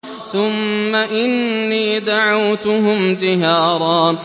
ثُمَّ إِنِّي دَعَوْتُهُمْ جِهَارًا